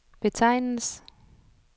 betegnes